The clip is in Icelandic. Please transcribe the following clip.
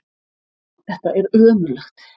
Þetta er ömurlegt!